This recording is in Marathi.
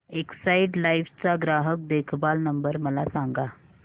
एक्साइड लाइफ चा ग्राहक देखभाल नंबर मला सांगा